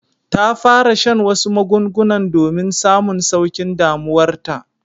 Ta fara shan wasu magungunan domin samun saukin damuwar ta.